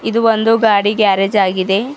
ಇದು ಒಂದು ಗಾಡಿ ಗ್ಯಾರೇಜ್ ಆಗಿದೆ.